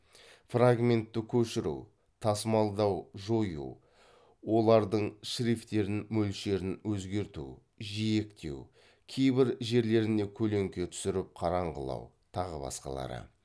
фрагментті көшіру тасымалдау жою олардың шрифтерін мөлшерін өзгерту жиектеу кейбір жерлеріне көлеңке түсіріп қараңғылау тағы баскалары